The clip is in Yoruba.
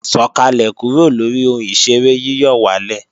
Sọ̀kàlẹ̀ kúrò lóri ohun ìṣeré yíyọ̀wálè!